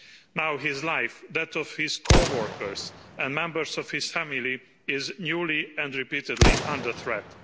Now his life, and those of his co-workers and members of his family, are newly and repeatedly under threat.